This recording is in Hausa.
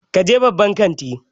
Ka je babban kanti!